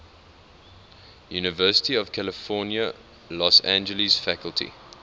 university of california los angeles faculty